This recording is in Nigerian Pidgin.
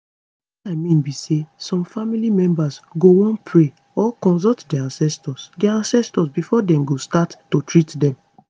wetin i mean be say some family members go wan pray or consult dia ancestors dia ancestors before dem go start to treat dem